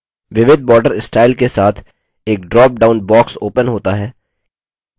विविध border style के साथ एक drop down box opens होता है